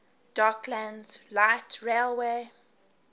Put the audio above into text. docklands light railway